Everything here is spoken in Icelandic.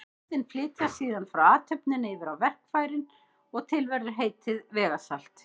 Orðin flytjast síðan frá athöfninni yfir á verkfærið og til verður heitið vegasalt.